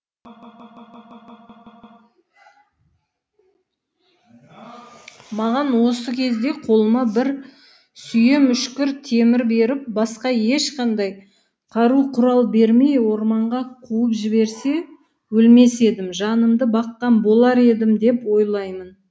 маған осы кезде қолыма бір сүйем үшкір темір беріп басқа ешқандай қару құрал бермей орманға қуып жіберсе өлмес едім жанымды баққан болар едім деп ойлаймын